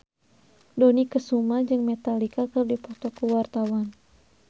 Dony Kesuma jeung Metallica keur dipoto ku wartawan